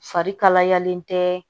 Fari kalayalen tɛ